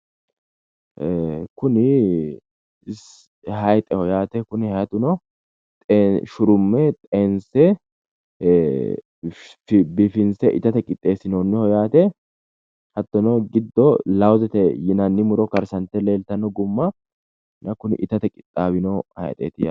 Kuni hayixeho yaate kuni hayixuno shurumme biifinse itate qixxeessinoonni hayixeeti yaate hattono giddo lawuzete yinanni gumma sa'e leeltannoho